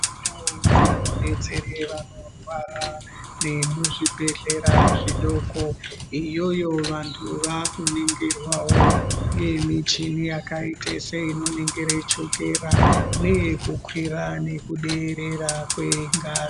Ndau dzinobetsera vanorwara dzemuzvibhedhlera zvitoro iyoyo vantu vakuningirwawo nemichini seyakaite seinoningira chokera neyekukwira nekuderera kwengazi.